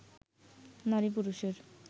নারী পুরুষের